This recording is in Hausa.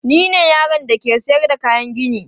Ni ne yaron da ke sayar da kayan gini.